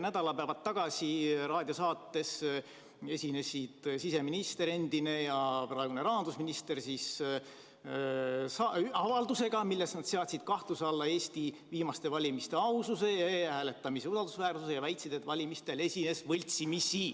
Nädalapäevad tagasi raadiosaates esinesid siseminister – nüüd endine – ja rahandusminister avaldusega, milles nad seadsid kahtluse alla Eesti viimaste valimiste aususe ja e-hääletamise usaldusväärsuse ja väitsid, et valimistel esines võltsimisi.